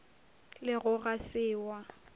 le go ga se wa